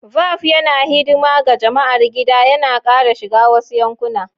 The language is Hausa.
Velp yana hidima ga jama'ar gida, yana ƙara shiga wasu yankuna.